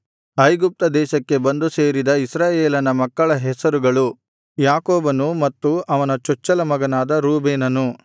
ಐಗುಪ್ತ ದೇಶಕ್ಕೆ ಬಂದು ಸೇರಿದ ಇಸ್ರಾಯೇಲನ ಮಕ್ಕಳ ಹೆಸರುಗಳು ಯಾಕೋಬನು ಮತ್ತು ಅವನ ಚೊಚ್ಚಲ ಮಗನಾದ ರೂಬೇನನು